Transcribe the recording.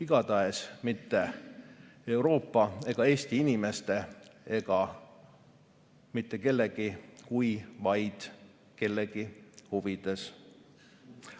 Igatahes mitte Euroopa, Eesti inimeste ega mitte kellegi kui vaid kellegi huvides.